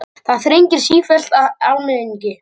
Það þrengir sífellt að almenningi